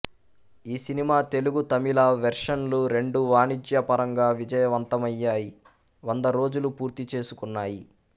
ఈ సినిమా తెలుగు తమిళ వెర్షన్లు రెండూ వాణిజ్యపరంగా విజయవంతమయ్యాయి వందరోజులు పూర్తిచేసుకున్నాయి